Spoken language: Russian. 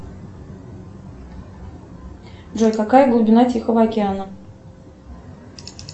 джой какая глубина тихого океана